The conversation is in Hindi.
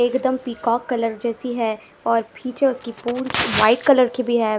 एकदम पीकॉक कलर जैसी है और पीछे उसकी पूंछ व्हाइट कलर की भी है।